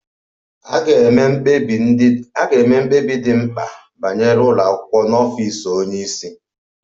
A ga-eme mkpebi ndị dị mkpa banyere ụlọ akwụkwọ n'ọfịs onye isi